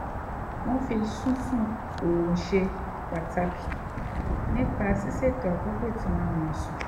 wọ́n fi sísun orun ṣe pàtàkì nípa ṣíṣètò àkókò tí wọ́n á máa sùn